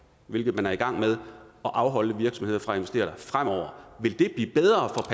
hvilket man er i gang med at afholde virksomheder fra at investere der fremover vil det blive bedre